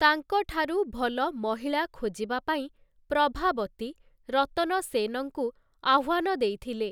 ତାଙ୍କ ଠାରୁ ଭଲ ମହିଳା ଖୋଜିବା ପାଇଁ ପ୍ରଭାବତୀ ରତନ ସେନଙ୍କୁ ଆହ୍ୱାନ ଦେଇଥିଲେ ।